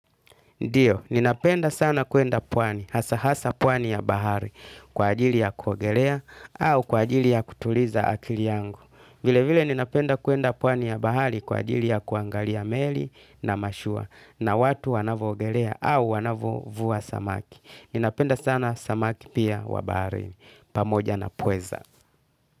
Ndiyo, ninapenda sana kuenda pwani, hasa hasa pwani ya bahari, kwa ajili ya kuogelea, au kwa ajili ya kutuliza akili yangu. Vile vile ninapenda kwenda pwani ya bahari kwa ajili ya kuangalia meli na mashua, na watu wanavoogelea, au wanavovua samaki. Ninapenda sana samaki pia wa baharini, pamoja na pweza.